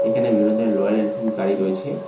এখানে বিভিন্ন ধরনের লয়াল এনফিন গাড়ি রয়েছে।